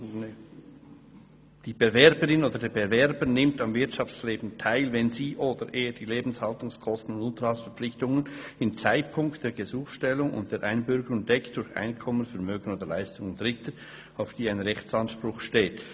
«Die Bewerberin oder der Bewerber nimmt am Wirtschaftsleben teil, wenn sie oder er die Lebenshaltungskosten und Unterhaltsverpflichtungen im Zeitpunkt der Gesuchstellung und der Einbürgerung deckt durch Einkommen, Vermögen oder Leistungen Dritter, auf die ein Rechtsanspruch besteht.